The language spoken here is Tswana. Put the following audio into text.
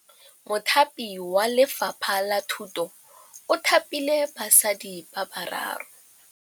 Mothapi wa Lefapha la Thutô o thapile basadi ba ba raro.